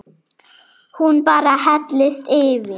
Hún bara hellist yfir.